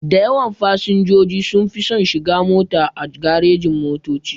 Dayawan fasinjoji sunfi son shiga mota a garejin-motoci.